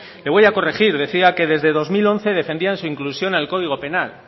le voy a corregir decía que desde dos mil once defendían su inclusión en el código penal